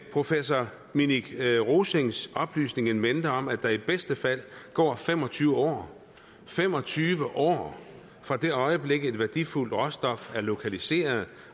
professor minik rosings oplysning in mente om at der i bedste fald går fem og tyve år fem og tyve år fra det øjeblik et værdifuldt råstof er lokaliseret